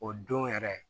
O don yɛrɛ